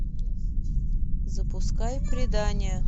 запуская предание